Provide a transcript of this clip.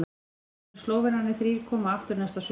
Þá munu Slóvenarnir þrír koma aftur næsta sumar.